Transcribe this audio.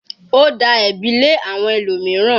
Ó da ẹ̀bi lé àwọn ẹlòmíràn.